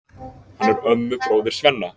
Hann er ömmubróðir Svenna.